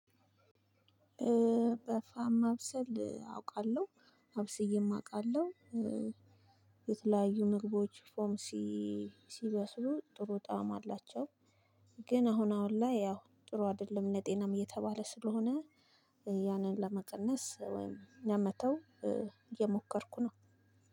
በፋም ማብሰል አውቃለው አብስዬም አውቃለው። የተለያዩ ምግቦች በፎም ሲበስሉ ጥሩ ጣዕም አላቸው። ግን አሁን አሁን ላይ ያው ጥሩ አይደለም ለጤናም እየተባለ ስለሆነ ያንን ለመቀነስ ወይም ለመተው እየሞከርኩ ነው።